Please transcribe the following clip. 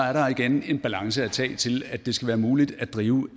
er der igen en balance at tage til at det skal være muligt at drive